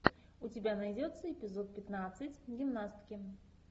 у тебя найдется эпизод пятнадцать гимнастки